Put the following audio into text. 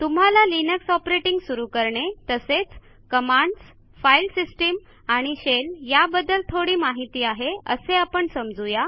तुम्हाला Linux operating सुरू करणे तसेच कमांडस् फाईल सिस्टीम आणि शेल या बद्दल थोडी माहिती आहे असे आपण समजू या